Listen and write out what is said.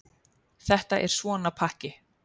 Þetta er svona pakki.